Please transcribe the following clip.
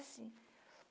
Sozinha.